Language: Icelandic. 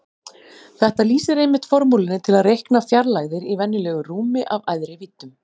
Þetta lýsir einmitt formúlunni til að reikna fjarlægðir í venjulegu rúmi af æðri víddum.